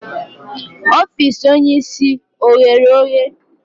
Ofiisi onye isi o ghe oghe?